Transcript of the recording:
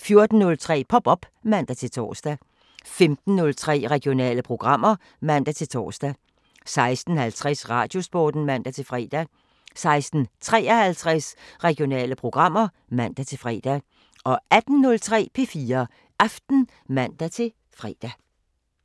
14:03: Pop op (man-tor) 15:03: Regionale programmer (man-tor) 16:50: Radiosporten (man-fre) 16:53: Regionale programmer (man-fre) 18:03: P4 Aften (man-fre)